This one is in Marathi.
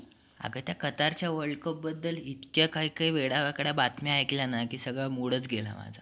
आग त्या कतारच्या would cup बद्दल इतक्या काही काही वेड्या वाकड्या बातम्या ऐकल्या ना कि सगळा मूडच गेला.